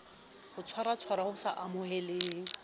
ho tshwaratshwara ho sa amoheleheng